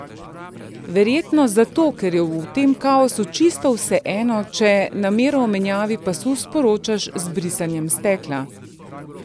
Verjetno zato, ker je v tem kaosu čisto vseeno, če namero o menjavi pasu sporočaš z brisanjem stekla.